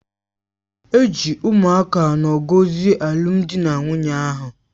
E ji ụmụaka anọ gọzie alụmdi na nwunye ahụ